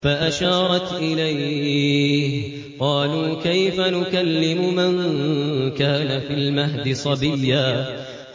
فَأَشَارَتْ إِلَيْهِ ۖ قَالُوا كَيْفَ نُكَلِّمُ مَن كَانَ فِي الْمَهْدِ صَبِيًّا